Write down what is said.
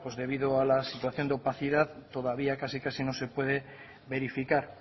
debido a la situación de opacidad todavía casi casi no se puede verificar